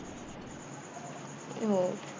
हो.